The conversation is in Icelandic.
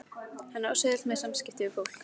Hann á svo auðvelt með samskipti við fólk.